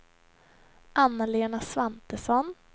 Anna-Lena Svantesson